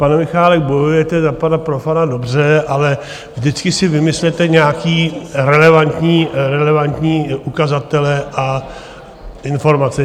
Pane Michálek, bojujete za pana Profanta dobře, ale vždycky si vymyslete nějaké relevantní ukazatele a informace.